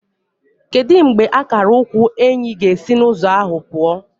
Kedu mgbe akara ukwu Enyi ga-esi n'ụzọ ahụ pụọ?